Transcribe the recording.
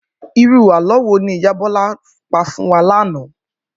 Irú àlọ́ wo ni ìyá Bọ́lá pa fún wa lánàá?